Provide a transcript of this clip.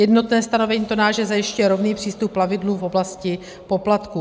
Jednotné stanovení TONNAGE zajišťuje rovný přístup plavidlům v oblasti poplatků.